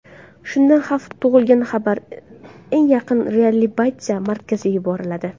Shunda xavf tug‘ilganda xabar eng yaqin reabilitatsiya markaziga yuboriladi.